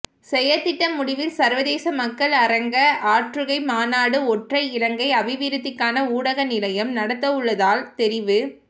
செயற்திட்ட முடிவில் சர்வதேச மக்கள் அரங்க ஆற்றுகை மாநாடு ஒன்றை இலங்கை அபிவிருத்திக்கான ஊடக நிலையம் நடத்தவுள்ளதால் தெரிவு